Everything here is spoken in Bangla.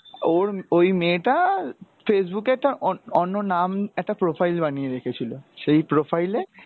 ওর, ওই মেয়েটা Facebook এ একটা অন~অন্য নাম, একটা profile বানিয়ে রেখেছিলো। সেই profile এ ,